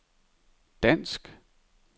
dansk